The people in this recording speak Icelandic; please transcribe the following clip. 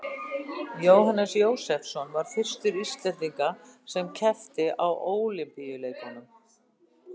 Jóhannes Jósefsson var fyrsti Íslendingurinn sem keppti á Ólympíuleikum.